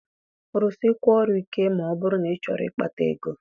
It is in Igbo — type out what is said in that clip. Rụsịkwuọ ọrụ ike ma ọ bụrụ na ịchọrọ ịkpata ego!